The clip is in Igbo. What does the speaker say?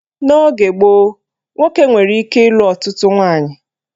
N'oge gboo, nwoke nwere ike ịlụ ọtụtụ nwaanyị